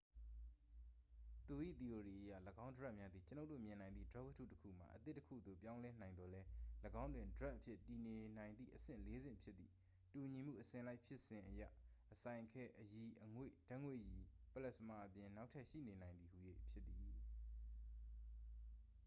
သူ၏ သီအိုရီအရ ၎င်းဒြပ်များသည် ကျွန်ုပ်တို့မြင်နိုင်သည့် ဒြပ်ဝတ္တုတစ်ခုမှ အသစ်တစ်ခုသို့ ပြောင်းလဲနိုင်သော်လည်း၊ ၎င်းတွင် ဒြပ်အဖြစ်တည်နေနိုင်သည့် အဆင့် ၄ ဆင့်ဖြစ်သည့် တူညီမှုအစဉ်လိုက်ဖြစ်စဉ်အရ ၊ အစိုင်ခဲ၊ အရည်၊ အငွေ့ ၊ ဓာတ်ငွေ့ရည် ပလက်စမာ အပြင် နောက်ထပ်ရှိနေနိုင်သည်ဟူ၍ ဖြစ်သည်။